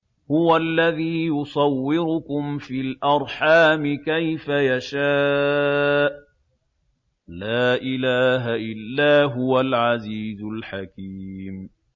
هُوَ الَّذِي يُصَوِّرُكُمْ فِي الْأَرْحَامِ كَيْفَ يَشَاءُ ۚ لَا إِلَٰهَ إِلَّا هُوَ الْعَزِيزُ الْحَكِيمُ